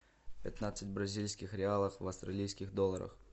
пятнадцать бразильских реалов в австралийских долларах